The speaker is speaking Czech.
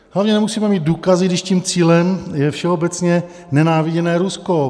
Hlavně nemusíme mít důkazy, když tím cílem je všeobecně nenáviděné Rusko.